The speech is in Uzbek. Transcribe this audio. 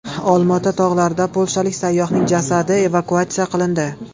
Olmaota tog‘laridan polshalik sayyohning jasadi evakuatsiya qilindi .